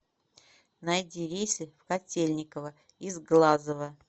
найди рейсы в котельниково из глазова